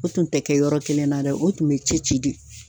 U tun te kɛ yɔrɔkelen na dɛ u tun be cɛci de